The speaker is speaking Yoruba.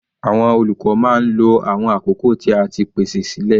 Àwọn olùkọ́ máa ń lo awọn àkókò tí a ti pèsè sílẹ̀.